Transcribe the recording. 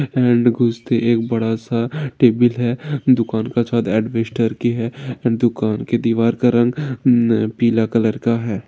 And घुसते ही एक बड़ा सा टेबिल है दुकान सायद अदबिस्तार की है दुकान की दीवार का रंग पीला कलर का है।